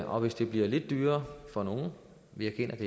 og hvis det bliver lidt dyrere for nogle vi erkender at